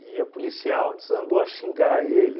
a policial desandou a xingar ele.